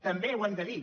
també ho hem de dir